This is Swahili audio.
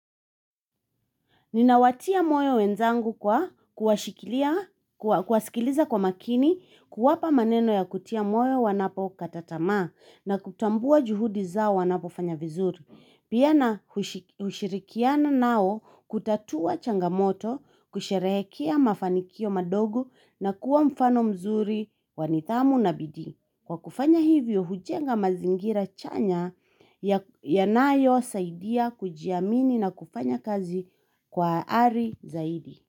Ninawatia moyo wenzangu kwa kuwashikilia, kuwasikiliza kwa makini, kuwapa maneno ya kutia moyo wanapokata tamaa na kutambua juhudi zao wanapofanya vizuri. Pia nahushirikiana nao kutatua changamoto, kusherehekea mafanikio madogo na kuwa mfano mzuri wa nidhamu na bidii. Kwa kufanya hivyo, hujenga mazingira chanya yanayosaidia kujiamini na kufanya kazi kwa ari zaidi.